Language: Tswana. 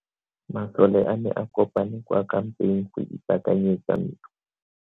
Masole a ne a kopane kwa kampeng go ipaakanyetsa ntwa.